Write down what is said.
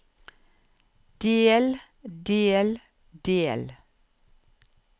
del del del